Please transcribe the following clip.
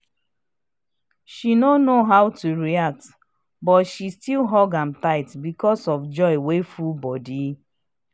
dem stay pass the time dem plan dia love um just full di house wit cool vibes